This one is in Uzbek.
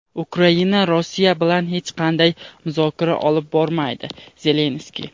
Ukraina Rossiya bilan hech qanday muzokara olib bormaydi - Zelenskiy.